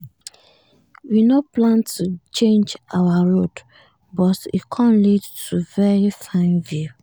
we nor plan to change our road but e com lead to very fine view.